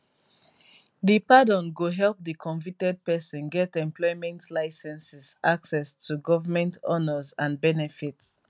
di pardon go help di convicted pesin get employment linceses access to government honours and benefits